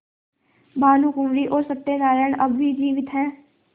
भानुकुँवरि और सत्य नारायण अब भी जीवित हैं